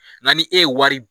Na ni e ye wari.